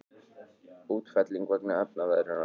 Útfelling vegna efnaveðrunar.